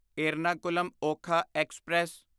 Ernakulam Okha express